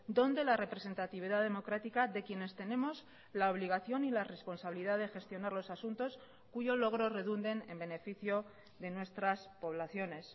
dónde la representatividad democrática de quienes tenemos la obligación y la responsabilidad de gestionar los asuntos cuyo logro redunden en beneficio de nuestras poblaciones